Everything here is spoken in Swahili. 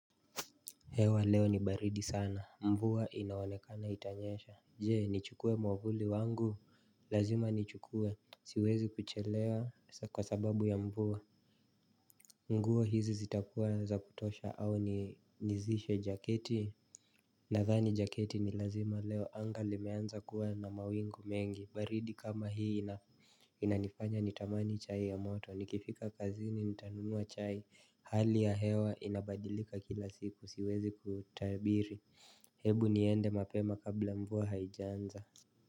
Hewa leo ni baridi sana mvua inaonekana itanyesha Jee nichukue mwavuli wangu lazima nichukue siwezi kuchelewa kwa sababu ya mvua nguo hizi zitakuwa za kutosha au nizishe jaketi Nathani jaketi ni lazima leo anga limeanza kuwa na mawingu mengi baridi kama hii inanifanya nitamani chai ya moto nikifika kazini nitanunua chai hali ya hewa inabadilika kila siku siwezi kutabiri hebu niende mapema kabla mvua haijaanza.